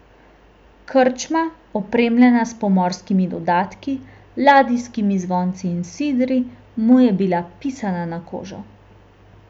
Krčma, opremljena s pomorskimi dodatki, ladijskimi zvonci in sidri, mu je bila pisana na kožo.